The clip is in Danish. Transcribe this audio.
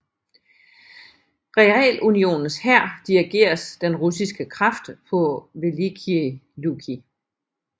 Realunionens hær dirigeres den russiske kraft på Velikiye Luki